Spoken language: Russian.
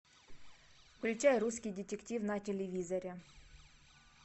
включай русский детектив на телевизоре